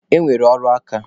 E nwere ọrụ aka.